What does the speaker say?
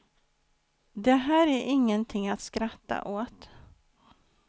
Det här är ingenting att skratta åt.